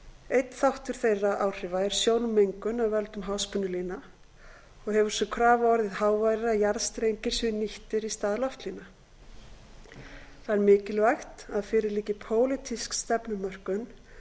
einn þáttur þeirra áhrifa er sjónmengun af völdum háspennulína og hefur sú krafa orðið háværari að jarðstrengir séu nýttir í stað loftlína það er mikilvægt að fyrir liggi pólitísk stefnumörkun